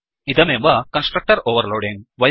इदमेव constructor overloading